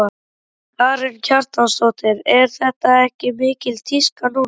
Karen Kjartansdóttir: Er þetta ekki mikil tíska núna?